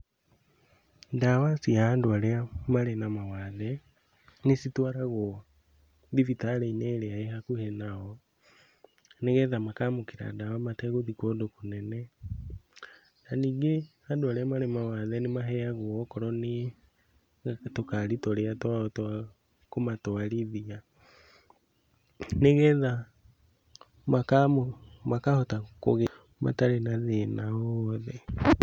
Ndawa cia andũ arĩa marĩ na mawathe, nĩcitwaragwo thibitarĩ-inĩ ĩrĩa ĩ hakuhĩ nao, nĩgetha makaamũkĩra ndawa mategũthiĩ kũndũ kũnene. Na ningĩ andũ arĩa marĩ mawathe nĩmaheagwo okorwo nĩ tũkari tũrĩa twao twa kũmatwarithia nĩgetha makahota kũgĩra matarĩ na thĩna o wothe.